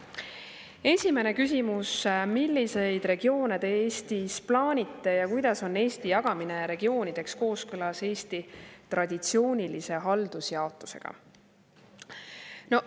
Esimene küsimus: "Milliseid regioone Te Eestis plaanite ja kuidas on Eesti jagamine regioonideks kooskõlas Eesti traditsioonilise haldusjaotusega?